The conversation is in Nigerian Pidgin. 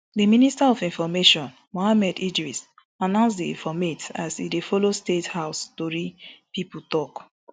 di minister of information mohammed idris announce di informate as e dey follow state house tori pipo tok